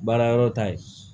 Baara yɔrɔ ta ye